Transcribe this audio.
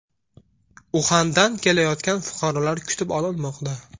Uxandan kelayotgan fuqarolar kutib olinmoqda.